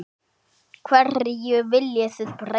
Hverju viljið þið breyta?